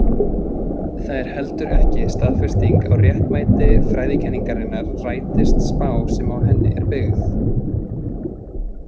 Það er heldur ekki staðfesting á réttmæti fræðikenningarinnar rætist spá sem á henni er byggð.